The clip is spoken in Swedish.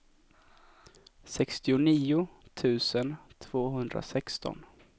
sextionio tusen tvåhundrasexton